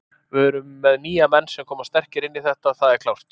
Við erum með nýja menn sem koma sterkir inn í þetta, það er klárt.